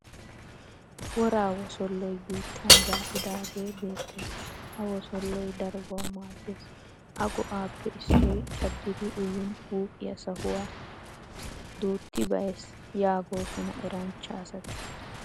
Woraa wosolloy biittan zaa'idaagee beettes. Ha wosolloy darobawu maaddes. A go'aappe issoy caddidi uyin huuphiya sahuwa duuttibayees yaagoosona eranchcha asati.